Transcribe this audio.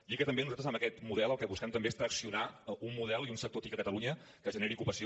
dir que també nosaltres amb aquest model el que busquem també és traccionar un model i un sector tic a catalunya que generi ocupació